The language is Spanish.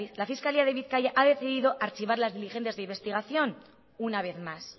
la fiscalía de bizkaia ha decidido archivar las diligencias de investigación una vez más